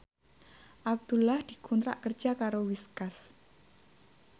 Abdullah dikontrak kerja karo Whiskas